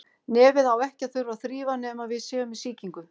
Nefið á ekki að þurfa að þrífa nema við séum með sýkingu.